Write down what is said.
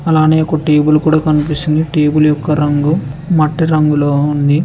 అలానే ఒక టేబుల్ కూడా కనిపిస్తుంది టేబుల్ యొక్క రంగు మట్టి రంగులో ఉంది.